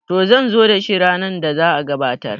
to zan zo da shi ranar da za a gabatar